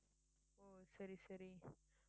ஓ சரி சரி